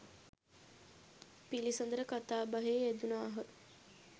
පිළිසඳර කතාබහේ යෙදුණාහ.